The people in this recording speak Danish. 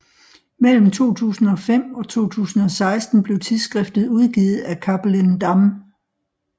Mellem 2005 og 2016 blev tidsskriftet udgivet af Cappelen Damm